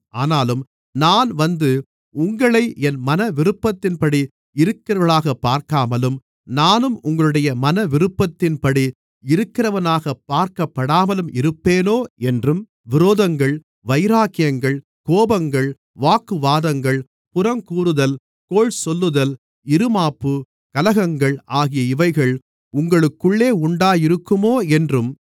ஆனாலும் நான் வந்து உங்களை என் மனவிருப்பத்தின்படி இருக்கிறவர்களாகப் பார்க்காமலும் நானும் உங்களுடைய மனவிருப்பத்தின்படி இருக்கிறவனாகப் பார்க்கப்படாமல் இருப்பேனோ என்றும் விரோதங்கள் வைராக்கியங்கள் கோபங்கள் வாக்குவாதங்கள் புறங்கூறுதல் கோள் சொல்லுதல் இறுமாப்பு கலகங்கள் ஆகிய இவைகள் உங்களுக்குள்ளே உண்டாயிருக்குமோ என்றும்